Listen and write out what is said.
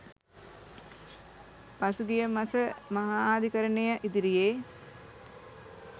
පසුගිය මස මහාධිකරණය ඉදිරියේ